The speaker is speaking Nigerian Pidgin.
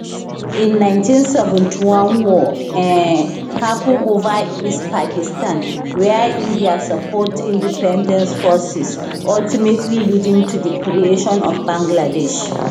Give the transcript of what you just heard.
in 1971 war um happun ova east pakistan wia india support independence forces ultimately leading to di creation of bangladesh